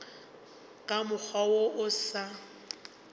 ka mokgwa wo o sa